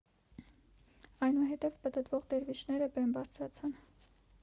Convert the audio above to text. այնուհետև պտտվող դերվիշները բեմ բարձրացան